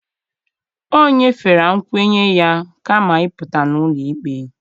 O nyefere nkwenye ya kama ịpụta n'ụlọ ikpe